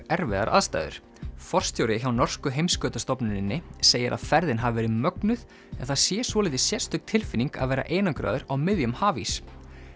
erfiðar aðstæður forstjóri hjá norsku segir að ferðin hafi verið mögnuð en það sé svolítið sérstök tilfinning að vera einangraður á miðjum hafís